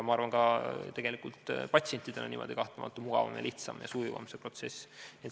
Ma arvan, et ka patsientidel on niimoodi kahtlemata mugavam, lihtsam ja sujuvam see protsess.